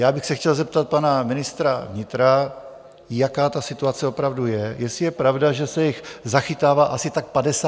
Já bych se chtěl zeptat pana ministra vnitra, jaká ta situace opravdu je, jestli je pravda, že se jich zachytává asi tak 50 denně.